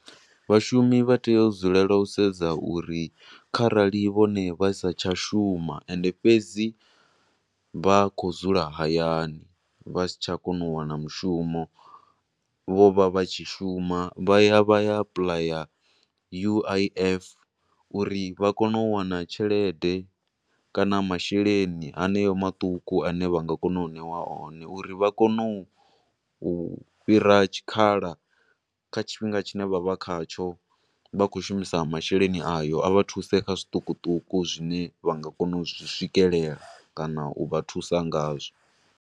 Vhashumi vha tea u dzulela u sedza uri kharali vhone vha satsha shuma ende fhedzi vha khou dzula hayani, vha satsha kona u wana mushumo, vho vha vha tshi shuma, vha ya vha ya apuḽaya U_I_F uri vha kone u wana tshelede kana masheleni haneyo maṱuku ane vha nga kona u ṋeiwa o ne. Uri vha kone u fhira tshikhala kha tshifhinga tshi ne vha vha kha tsho vha tshi khou shumisa masheleni ayo, a vha thuse kha zwiṱukuṱuku zwine vha nga kona u zwi swikelela, kana u vha thusa nga zwo.